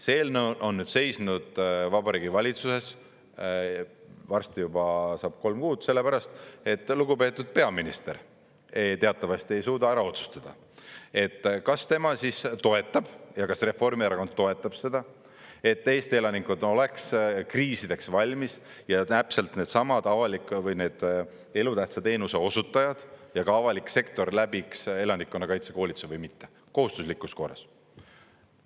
See eelnõu on seisnud Vabariigi Valitsuses, varsti juba saab kolm kuud, sellepärast et lugupeetud peaminister teatavasti ei suuda ära otsustada, kas tema toetab ja kas Reformierakond toetab seda, et Eesti elanikud oleks kriisideks valmis ja täpselt needsamad elutähtsa teenuse osutajad ja ka avalik sektor läbiks elanikkonnakaitse koolituse või mitte kohustuslikus korras.